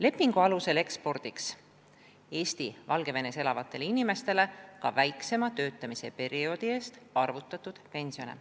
Lepingu alusel ekspordiks Eesti Valgevenes elavatele inimestele ka väiksema töötamise perioodi eest arvutatud pensione.